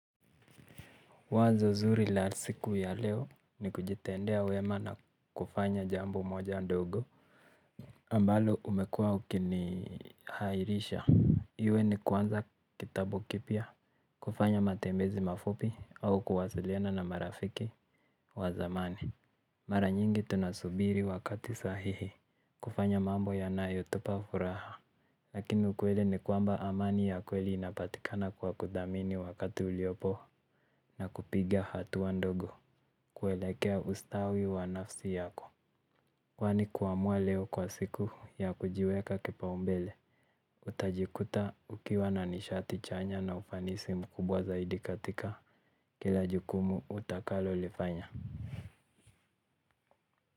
Wazo zuri la siku ya leo ni kujitendea wema na kufanya jambo moja ndogo ambalo umekuwa ukinihairisha iwe ni kwanza kitabu kipya kufanya matembezi mafupi au kuwasiliana na marafiki wa zamani. Mara nyingi tunasubiri wakati sahihi kufanya mambo yanayotupa furaha lakini ukweli ni kwamba amani ya kweli inapatikana kwa kuthamini wakati uliopo na kupiga hatua ndogo kuelekea ustawi wa nafsi yako kwani kuamua leo kwa siku ya kujiweka kipaumbele utajikuta ukiwa na nishati chanya na ufanisi mkubwa zaidi katika kila jukumu utakalolifanya.